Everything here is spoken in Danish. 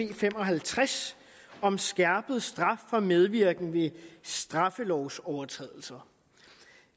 b fem og halvtreds om skærpet straf for medvirken ved straffelovsovertrædelser